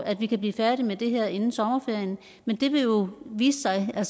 at vi kan blive færdig med det her inden sommerferien men det vil jo vise sig der